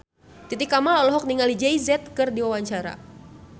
Titi Kamal olohok ningali Jay Z keur diwawancara